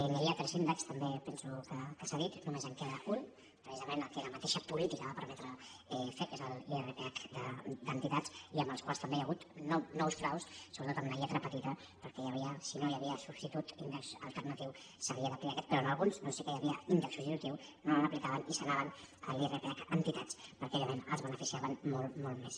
hi havia tres índexs també penso que s’ha dit no·més en queda un precisament el que la mateixa polí·tica va permetre fer que és l’irph d’entitats i amb el qual també hi ha hagut nous fraus sobretot en la lletra petita perquè si no hi havia substitut índex alternatiu s’havia d’aplicar aquest però en alguns doncs sí que hi havia índex substitutiu no l’aplicaven i se n’anaven a l’irph entitats perquè òbviament els beneficiaven molt molt més